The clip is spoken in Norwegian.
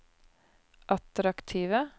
attraktive